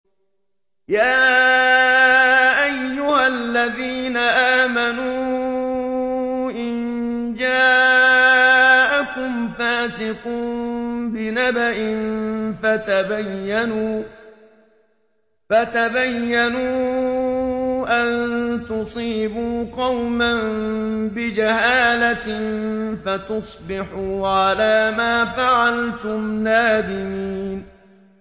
يَا أَيُّهَا الَّذِينَ آمَنُوا إِن جَاءَكُمْ فَاسِقٌ بِنَبَإٍ فَتَبَيَّنُوا أَن تُصِيبُوا قَوْمًا بِجَهَالَةٍ فَتُصْبِحُوا عَلَىٰ مَا فَعَلْتُمْ نَادِمِينَ